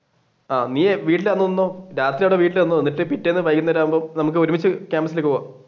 ആഹ് നീയേ വീട്ടിൽ അന്ന് നിന്നോ രാത്രി ഇവിടെ വീട്ടിൽ നിന്നോ എന്നിട്ട് പിറ്റേന്ന് വൈകുന്നേരം ആകുമ്പോൾ നമുക്ക് ഒരുമിച്ചു ക്യാമ്പസ്സിലേക്ക് പോകാം.